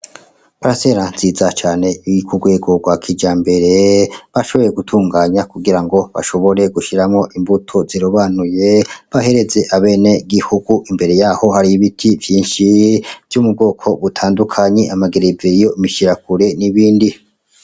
Paracella Nziza Cane Iri Kugwego Rwa Kijambere, Bashoboye Gutunganya Kugira Ngo Bashobore Gushiramwo Imbuto Zirobanuye, Bahereze Abene Gihugu. Imbere Yaho Hariy'Ibiti Vyinshi Vyo Mubwoko Butandukanye Amagereveriyo, Mishiyakure N'Ibindi.